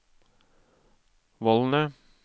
vollene